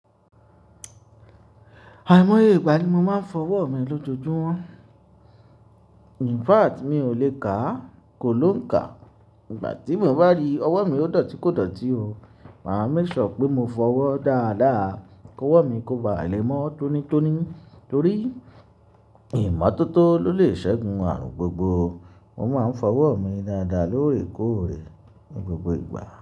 Àìmọye ìgbà ni mo máa ń fọ ọwọ́ mi lójoojúmọ́. In fact mi ò le kà á, kò ló ń kà. Ìgbà tí mo bá rí ọwọ́ mi ó dọ̀tí kò dọ̀tí o. Mà á make sure pé mo fọ ọwọ́ dáadáa kí ọwọ́ mi kóba le mo tónítóní torí ìmọ́tótó ló lè ṣẹ́gun ààrùn gbogbo. Mo máa ń fọ ọwọ́ mi dáadáa lóòrèkóòrè ní gbogbo ìgbà.